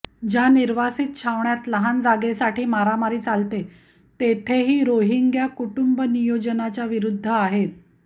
ज्या निर्वासित छावण्यात लहान जागेसाठी मारामारी चालते तेथेही रोहिंग्या कुटूंबनियोजनाच्याविरुद्ध आहेत